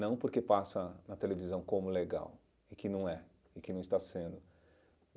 Não porque passa na televisão como legal, e que não é, e que não está sendo.